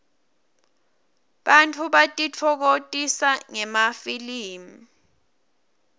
bantfu batitfokokotisa ngemafilmi